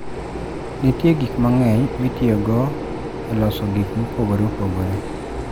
Nitie gik mang'eny mitiyogo e loso gik mopogore opogore.